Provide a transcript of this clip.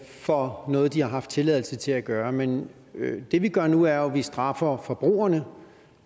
for noget de har haft tilladelse til at gøre men det vi gør nu er jo at vi straffer forbrugerne